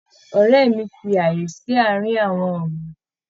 Ọrẹ́ mí fí ààyè sí àárín àwọn ọ̀gbìn.